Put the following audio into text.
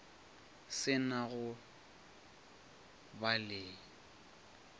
se na go ba le